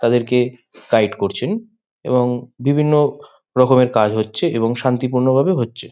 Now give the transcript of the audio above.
তাদেরকে সাইড করছেন এবং বিভিন্ন রকমের কাজ হচ্ছে এবং শান্তিপূর্ণভাবে হচ্ছে।